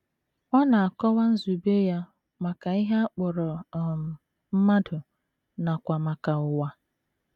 Ọ na - akọwa nzube ya maka ihe a kpọrọ um mmadụ nakwa maka ụwa.